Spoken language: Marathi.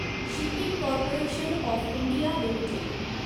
shipping corporation of India limited